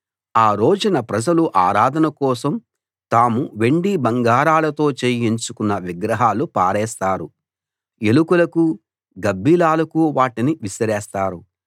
ఆ రోజున ప్రజలు ఆరాధన కోసం తాము వెండి బంగారాలతో చేయించుకున్న విగ్రహాలు పారేస్తారు ఎలుకలకూ గబ్బిలాలకూ వాటిని విసిరేస్తారు